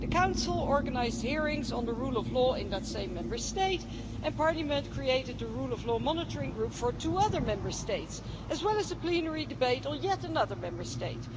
The Council organised hearings on the rule of law in that same Member State, and Parliament created the rule of law monitoring group for two other Member States, as well as a plenary debate on yet another Member State.